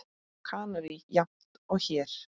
Á Kanarí jafnt og hér.